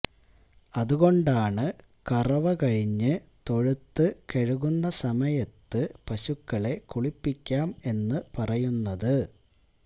അതുകൊണ്ടാണ് കറവകഴിഞ്ഞ് തൊഴുത്തു കഴുകുന്ന സമയത്ത് പശുക്കളെ കുളിപ്പിക്കാം എന്നു പറയുന്നത്